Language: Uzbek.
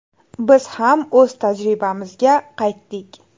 Biz ham o‘z tajribamizga qaytdik.